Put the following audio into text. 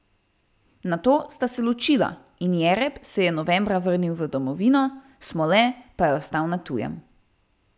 Nato sta se ločila in Jereb se je novembra vrnil v domovino, Smole pa je ostal na tujem.